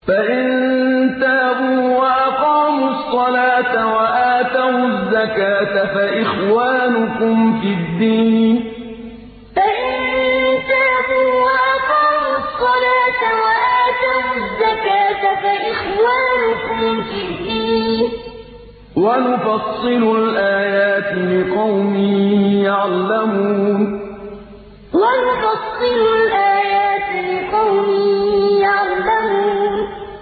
فَإِن تَابُوا وَأَقَامُوا الصَّلَاةَ وَآتَوُا الزَّكَاةَ فَإِخْوَانُكُمْ فِي الدِّينِ ۗ وَنُفَصِّلُ الْآيَاتِ لِقَوْمٍ يَعْلَمُونَ فَإِن تَابُوا وَأَقَامُوا الصَّلَاةَ وَآتَوُا الزَّكَاةَ فَإِخْوَانُكُمْ فِي الدِّينِ ۗ وَنُفَصِّلُ الْآيَاتِ لِقَوْمٍ يَعْلَمُونَ